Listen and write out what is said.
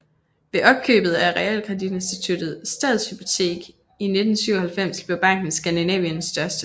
Ved opkøbet af realkreditinstituttet Stadshypotek i 1997 blev banken Skandinaviens største